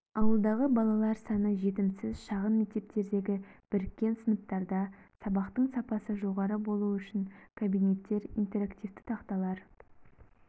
ауылдағы балалар саны жетімсіз шағын мектептердегі біріккен сыныптарда сабақтың сапасы жоғары болуы үшін кабинеттер интерактивті тақталар